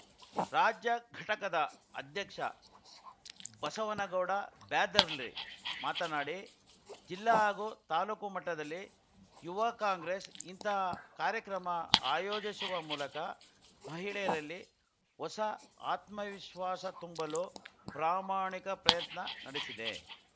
ರಾಜ್ಯ ಘಟಕದ ಅಧ್ಯಕ್ಷ ಬಸವನಗೌಡ ಬ್ಯಾದರ್ಲಿ ಮಾತನಾಡಿ ಜಿಲ್ಲಾ ಹಾಗೂ ತಾಲೂಕು ಮಟ್ಟದಲ್ಲಿ ಯುವ ಕಾಂಗ್ರೆಸ್‌ ಇಂತಹ ಕಾರ್ಯಕ್ರಮ ಆಯೋಜಿಸುವ ಮೂಲಕ ಮಹಿಳೆಯರಲ್ಲಿ ಹೊಸ ಆತ್ಮವಿಶ್ವಾಸ ತುಂಬಲು ಪ್ರಾಮಾಣಿಕ ಪ್ರಯತ್ನ ನಡೆಸಿದೆ